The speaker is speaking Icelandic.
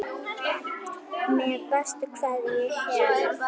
Með bestu kveðju Hera.